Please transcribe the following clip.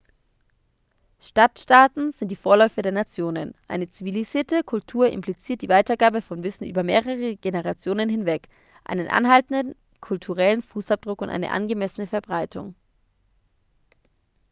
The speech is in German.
stadtstaaten sind die vorläufer der nationen eine zivilisierte kultur impliziert die weitergabe von wissen über mehrere generationen hinweg einen anhaltenden kulturellen fußabdruck und eine angemessene verbreitung